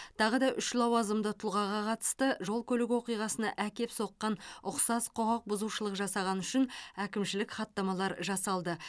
тағы да үш лауазымды тұлғаға қатысты жол көлік оқиғасына әкеп соққан ұқсас құқық бұзушылық жасағаны үшін әкімшілік хаттамалар жасалды